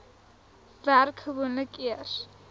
werk gewoonlik eers